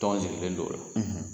Tɔn sigilen don